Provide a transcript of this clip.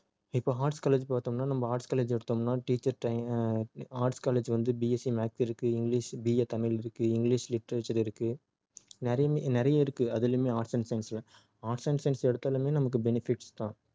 இப்போ arts college பார்த்தோம்னா நம்ம arts college எடுத்தோம்னா teacher train~ ஆஹ் arts college வந்து BSC maths இருக்கு english BA தமிழ் இருக்கு english literature இருக்கு நிறையுமே நிறைய இருக்கு அதிலுமே arts and science ல arts and science எடுத்தாலுமே நமக்கு benefits தான்